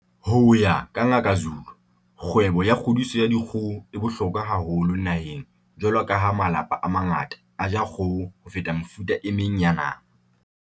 Ho ya ka Ngaka Zulu, kgwebo ya kgodiso ya dikgoho e bohlokwa haholo naheng jwalo ka ha malapa a mangata a ja kgoho ho feta mefuta e meng ya nama.